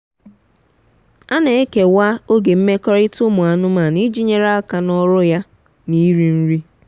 a nan ekewa oge nmekọrita umu anụmanụ iji nyere aka na ọrụ ya na iri nri.